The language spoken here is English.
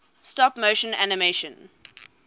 stop motion animation